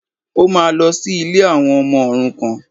Ó máa lọ sí ilé àwọn ọmọ òrukàn